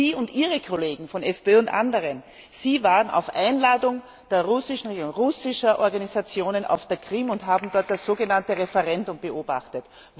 Sie und Ihre Kollegen, von FPÖ und anderen, waren auf Einladung der russischen Regierung, russischer Organisationen auf der Krim und haben dort das sogenannte Referendum beobachtet.